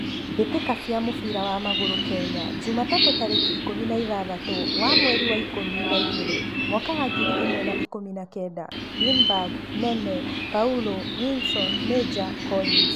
Mbitika cia mũbira wa magũrũ Kenya jumatatũ tarĩki ikũmi na ithathatu wa mweri wa ikũmi na igĩrĩ mwaka wa ngiri ĩmwe wa ikũmi na kenda: Linberg, Nene, Paulo, Wilson, Major, Collins